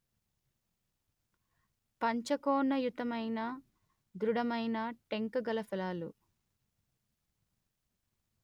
పంచకోణయుతమైన ధృఢమైన టెంక గల ఫలాలు